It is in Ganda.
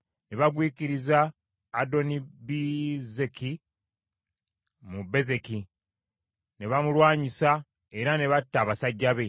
Ne bagwikiriza Adonibezeki mu Bezeki; ne bamulwanyisa era ne batta abasajja be.